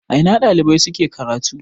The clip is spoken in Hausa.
A ina ɗalibai suke karatu?